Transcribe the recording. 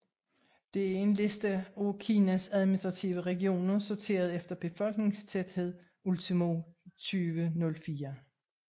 Dette er en liste af Kinas administrative regioner sorteret efter befolkningstæthed ultimo 2004